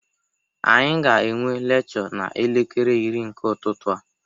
Anyị ga-enwe lekchọ n'elekere iri nke ụtụtụ a.